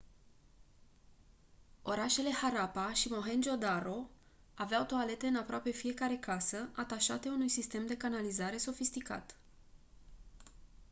orașele harappa și mohenjo-daro aveau toalete în aproape fiecare casă atașate unui sistem de canalizare sofisticat